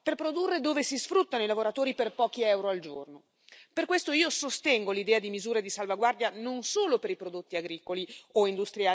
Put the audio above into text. Per questo, io sostengo l'idea di misure di salvaguardia non solo per i prodotti agricoli o industriali, ma anche per il rispetto dei diritti sociali ed ambientali.